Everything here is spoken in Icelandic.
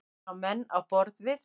Það eru menn á borð við